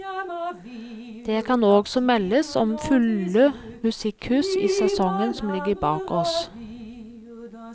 Det kan også meldes om fulle musikkhus i sesongen som ligger bak oss.